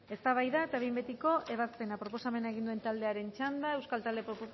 eztabaida eta behin betiko ebazpena proposamena egin duen taldearen txanda euskal talde